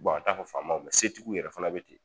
a t'a fɔ faamaw se tigiw yɛrɛ fana be ten.